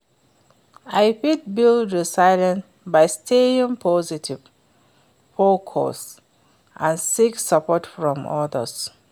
i fit build resilience by staying positive, focused and seek support from odas.